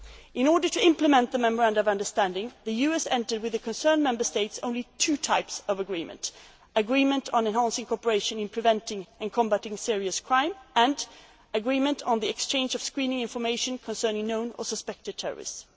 exchanging data. In order to implement the memorandum of understanding, the US and the relevant Member States signed only two types of agreement, namely agreements on enhancing cooperation in preventing and combating serious crime and agreements on the exchange of screening information concerning known or suspected